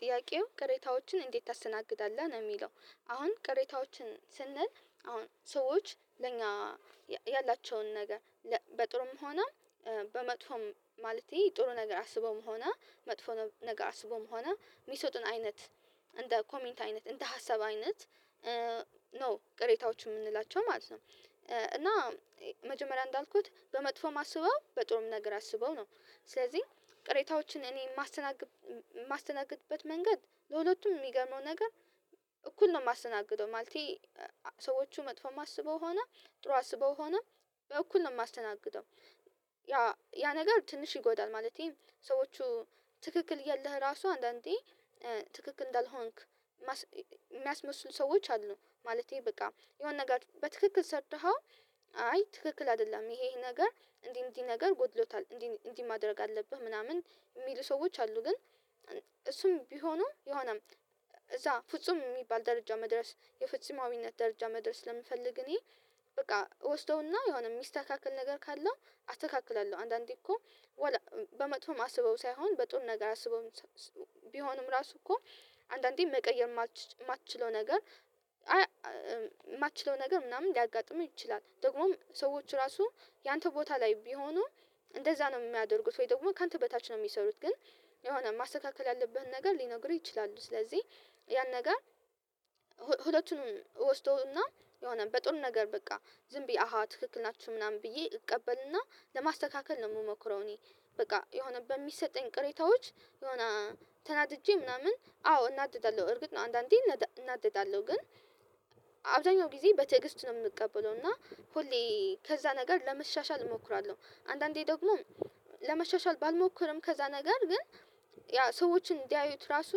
ጥያቄው ቅሬታዎችን እንዴት ታስተናግዳለህ ነው? የሚለው አሁን ቅሬታዎችን ስንል አሁን ሰዎች ለኛ ያላቸውን ነገር በጥሩም ሆና በመጥፎም ማለቴ ጥሩ ነገር አስበውም ሆነ መጥፎ ነገር አስበውም ሆነ የሚሰጡን አይነት እንደ ኮሜንት አይነት እንደ ሀሳብ አይነት ነው ቅሬታዎች የምንላቸው ማለት ነው። እና መጀመሪያ እንዳልኩት በመጥፎ አስበው በጥሩም ነገር አስበው ነው። ስለዚህ ቅሬታዎችን እኔ የማስተናግድ የማስተናግድበት መንገድ ለሁለቱም የሚገመው ነገር እኩል ነው የማስተናግደው ማለቴ ሰዎቹ መጥፎ አስበው ሆነ ጥሩ አስበው ሆነ በእኩል ነው የማስተናግደው። ያ ያ ነገር ትንሽ ይጎዳል ማለቴ ሰዎች ትክክል እያለህ ራሱ አንዳንዴ ትክክል እንዳልሆንክ የሚያስመስሉ ሰዎች አሉ። ማለቴ በቃ የሆነ ነገር በትክክል ሰርተኸው አይ ትክክል አይደለም ይሄ ይሄ ነገር እንዲህ እንዲህ ነገር ጎድሎታል እንዲህ እንዲህ ማድረግ አለብህ ምናምን የሚሉ ሰዎች አሉ። ግን እሱም ቢሆኑ የሆነም እዛ ፍጹም የሚባል ደረጃ መድረስ የፍጹማዊነት ደረጃ መድረስ ለምፈልግ እኔ በቃ እወስደውና የሆነ የሚስተካክል ነገር ካለው አተካክላለሁ። አንዳንዴ እኮ በመጥፎም አስበው ሳይሆን በጥሩ ነገር አስበው ቢሆንም ራሱ እኮ አንዳንዴም መቀየር የማትችለው ነገር የማትችለው ነገር ምናምን ሊያጋጥምህ ይችላል። ደግሞም ሰዎች ራሱ ያንተ ቦታ ላይ ቢሆኑ እንደዛ ነው የሚያደርጉት ወይ ደግሞ ካንተ በታች ነው የሚሰሩት ግን የሆነ ማስተካከል ያለብህን ነገር ሊነግሩህ ይችላሉ። ስለዚህ ያን ነገር ሁለቱንም እወስደው እና የሆነ በጥሩ ነገር በቃ ዝም ብዬ አሃ ትክክል ናችሁ ምናምን ብዬ እቀበልና ለማስተካከል ነው የምሞክረው። እኔ በቃ የሆነ በሚሰጠኝ ቅሬታዎች የሆነ ተናድጄ ምናምን አዎ እናደዳለሁ እርግጥ ነው አንዳንዴ እናደዳለሁ ግን አብዛኛው ጊዜ በትዕግስት ነው የምቀበለው። እና ሁሌ ከዛ ነገር ለመሻሻል እሞክራለሁ አንዳንዴ ደግሞ ለመሻሻል ባልሞክርም ከዛ ነገር ግን ያ ሰዎችን እንዲያዩት ራሱ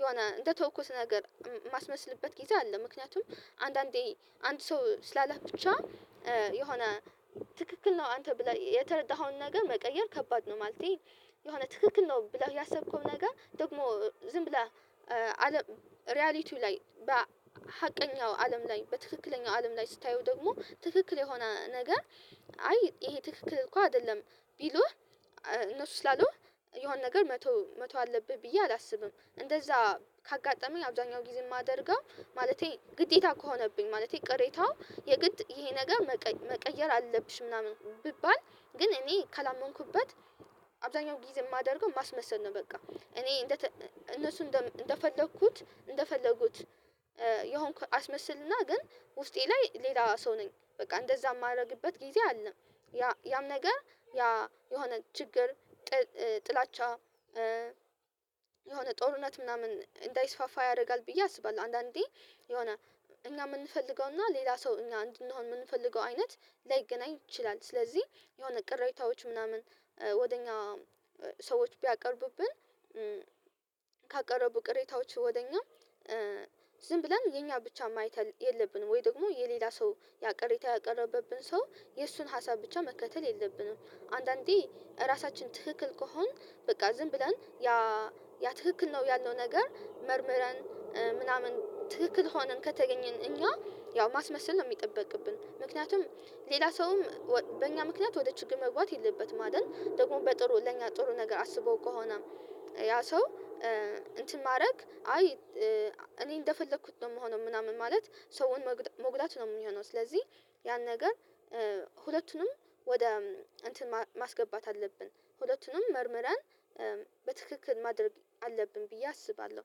የሆነ እንደተውኩት ነገር የማስመስልበት ጊዜ አለ። ምክንያቱም አንዳንዴ አንድ ሰው ስላለህ ብቻ የሆነ ትክክል ነው አንተ ብለህ የተረዳኸውን ነገር መቀየር ከባድ ነው። ማለቴ የሆነ ትክክል ነው ብለህ ያሰብከው ነገር ደግሞ ዝም ብለህ ሪያሊቲው ላይ በሀቀኛው አለም ላይ በትክክለኛው አለም ላይ ስታየው ደግሞ ትክክል የሆነ ነገር አይ ይሄ ትክክል እኮ አይደለም ቢሉህ እነሱ ስላሉህ የሆነ ነገር መተው መተው አለብህ ብዬ አላስብም። እንደዛ ካጋጠመኝ አብዛኛው ጊዜ የማደርገው ማለቴ ግዴታ ከሆነብኝ ማለቴ ቅሬታው የግድ ይሄ ነገር መቀየር አለብሽ ምናምን ቢባል ግን እኔ ካላመንኩበት አብዛኛው ጊዜ የማደርገው ማስመሰል ነው። በቃ እኔ እነሱ እንደፈለኩት እንደፈለጉት የሆንኩ አስመስልና ግን ውስጤ ላይ ሌላው ሰው ነኝ በቃ እንደዛ የማደርግበት ጊዜ አለ። ያም ነገር ያ የሆነ ችግር ጥላቻ የሆነ ጦርነት ምናምን እንዳይስፋፋ ያደርጋል ብዬ አስባለሁ። አንዳንዴ የሆነ እኛ የምንፈልገውና ሌላ ሰው እኛ እንድንሆን የምንፈልገው አይነት ላይገናኝ ይችላል። ስለዚህ የሆነ ቅሬታዎች ምናምን ወደ እኛ ሰዎች ቢያቀርቡብን ካቀረቡ ቅሬታዎች ወደ እኛ ዝም ብለን የኛን ብቻ ማየት የለብንም? ወይ ደግሞ የሌላ ሰው ያቀረበብን ሰው የእሱን ሀሳብ ብቻ መከተል የለብንም። አንዳንዴ እራሳችን ትክክል ከሆንን በቃ ዝም ብለን ያ ትክክል ነው ያልነው ነገር መርምረን ምናምን ትክክል ሆነን ከተገኘን እኛ ያው ማስመሰል ነው የሚጠበቅብን ምክንያቱም ሌላ ሰውም በእኛ ምክንያት ወደ ችግር መግባት የለበትም። አይደል ደግሞ በጥሩ ለእኛ ጥሩ ነገር አስበው ከሆነ ያ ሰው እንትን ማድረግ አይ እኔ እንደፈለኩት ነው የምሆነው ምናምን ማለት ሰውን መጉዳት ነው የሚሆነው። ስለዚህ ያን ነገር ሁለቱንም ወደ እንትን ማስገባት አለብን ሁለቱንም መርምረን በትክክል ማድረግ አለብን ብዬ አስባለሁ።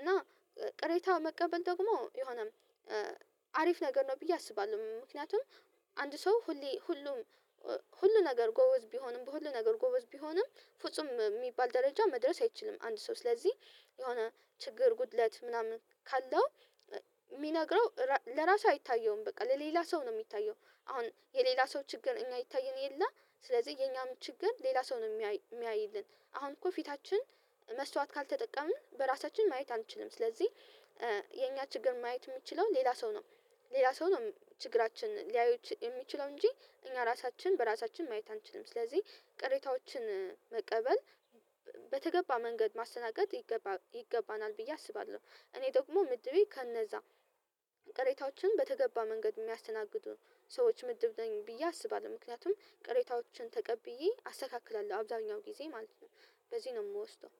እና ቅሬታ መቀበል ደግሞ የሆነ አሪፍ ነገር ነው ብዬ አስባለሁ። ምክንያቱም አንድ ሰው ሁሌ ሁሉም ሁሉ ነገር ጎበዝ ቢሆንም በሁሉ ነገር ጎበዝ ቢሆንም ፍጹም የሚባል ደረጃ መድረስ አይችልም። አንድ ሰው ስለዚህ የሆነ ችግር ጉድለት ምናምን ካለው የሚነግረው ለራሱ አይታየውም በቃ ለሌላ ሰው ነው የሚታየው። አሁን የሌላ ሰው ችግር እኛ አይታየን የለ ስለዚህ የኛም ችግር ሌላ ሰው ነው የሚያይልን። አሁን እኮ ፊታችን መስታወት ካልተጠቀምን በራሳችን ማየት አንችልም። ስለዚህ የኛ ችግር ማየት የሚችለው ሌላ ሰው ነው። ሌላ ሰው ነው ችግራችን ሊያየው የሚችለው እንጂ እኛ ራሳችን በራሳችን ማየት አንችልም። ስለዚህ ቅሬታዎችን መቀበል በተገባ መንገድ ማስተናገድ ይገባናል ብዬ አስባለሁ። እኔ ደግሞ ምድቤ ከነዛ ቅሬታዎችን በተገባ መንገድ የሚያስተናግዱ ሰዎች ምድብ ነኝ ብዬ አስባለሁ። ምክንያቱም ቀሬታዎችን ተቀብዬ አስተካክላለሁ አብዛኛው ጊዜ ማለት ነው። በዚህ ነው የምወስደው።